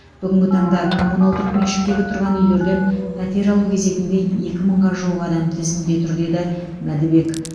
бүгінгі таңда коммуналдық меншіктегі тұрған үйлерден пәтер алу кезегінде екі мыңға жуық адам тізімде тұр деді мәдібек